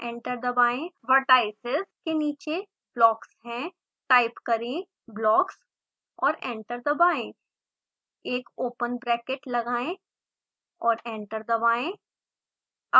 vertices के नीचे blocks हैं टाइप करें blocks और एंटर दबाएं एक ओपन ब्रैकेट लगाएं और एंटर दबाएं